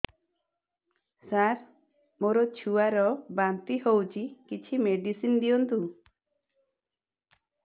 ସାର ମୋର ଛୁଆ ର ବାନ୍ତି ହଉଚି କିଛି ମେଡିସିନ ଦିଅନ୍ତୁ